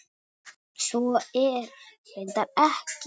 Svo er reyndar ekki.